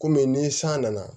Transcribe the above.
Kɔmi ni san nana